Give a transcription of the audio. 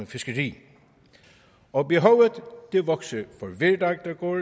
fiskeri og behovet vokser for hver dag der går